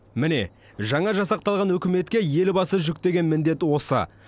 міне жаңа жасақталған үкіметке елбасы жүктеген міндеті осы